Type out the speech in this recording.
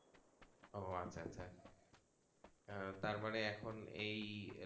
ও আচ্ছা আচ্ছা তার মানে এখন এই